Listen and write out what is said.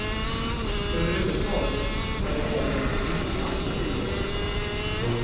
Överhuvudtaget är det här en trivsam tillvaro.